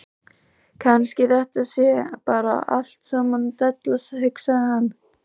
Kannski þetta sé bara allt saman della, hugsaði hann.